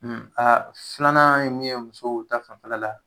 A filanan ye mun ye muso ta fanfɛla la